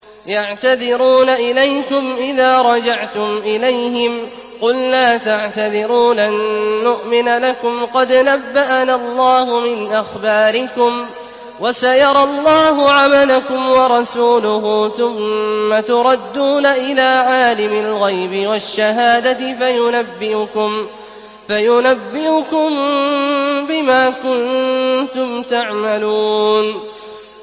يَعْتَذِرُونَ إِلَيْكُمْ إِذَا رَجَعْتُمْ إِلَيْهِمْ ۚ قُل لَّا تَعْتَذِرُوا لَن نُّؤْمِنَ لَكُمْ قَدْ نَبَّأَنَا اللَّهُ مِنْ أَخْبَارِكُمْ ۚ وَسَيَرَى اللَّهُ عَمَلَكُمْ وَرَسُولُهُ ثُمَّ تُرَدُّونَ إِلَىٰ عَالِمِ الْغَيْبِ وَالشَّهَادَةِ فَيُنَبِّئُكُم بِمَا كُنتُمْ تَعْمَلُونَ